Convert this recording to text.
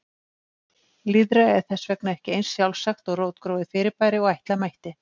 Lýðræði er þess vegna ekki eins sjálfsagt og rótgróið fyrirbæri og ætla mætti.